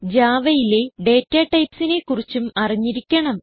Javaയിലെ datatypesനെ കുറിച്ചും അറിഞ്ഞിരിക്കണം